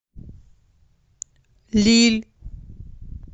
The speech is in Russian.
лилль